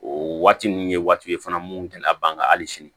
O waati ninnu ye waati ye fana mun tɛna ban ka hali sini